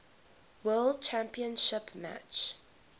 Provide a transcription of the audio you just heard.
world championship match